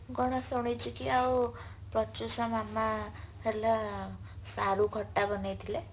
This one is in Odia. ମୁଁ କଣ ଶୁଣିଚି କି ଆଉ ମାମା ହେଲା ସାରୁ ଖଟା ବନେଇଥିଲେ